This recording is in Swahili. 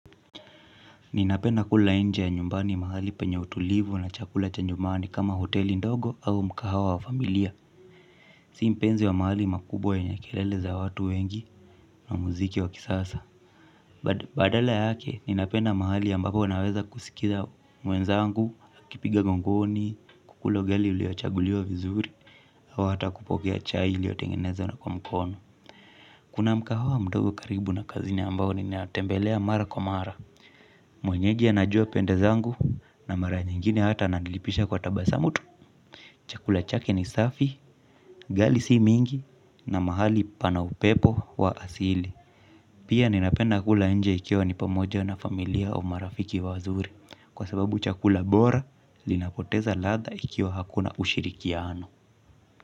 Ninapenda kula nje ya nyumbani mahali penye utulivu na chakula cha nyumani kama hoteli ndogo au mgahawa wa familia. Si mpenzi wa mahali makubwa yenye kelele za watu wengi na muziki wa kisasa. Badala yake ninapenda mahali ambapo naweza kusikiliza mwenzangu, tukipiga gongoni, kukula ugali uliochaguliwa vizuri au hata kupokea chai iliyotengenezwa kwa mkono. Kuna mgahawa mdogo karibu na kazini ambapo ninatembelea mara kwa mara. Mwenyeji anajua pende zangu na mara nyingine hata ananilipisha kwa tabasamu tu. Chakula chake ni safi, ugali si mingi na mahali pana upepo wa asili. Pia ninapenda kula nje ikiwa nipo pamoja na familia au marafiki wazuri. Kwa sababu chakula bora kinapoteza ladha ikiwa hakuna ushirikiano.